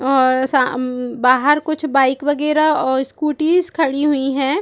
और साम बाहर कुछ बाइक वगैरा और स्कूटीएस खड़ी हुई है।